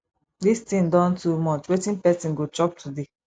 dis thing don too much wetin person go chop today